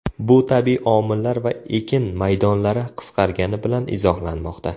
Bu tabiiy omillar va ekin maydonlari qisqargani bilan izohlanmoqda.